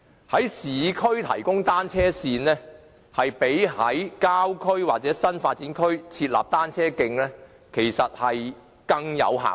在市區提供單車線，較在郊區或新發展區設立單車徑，更有效益。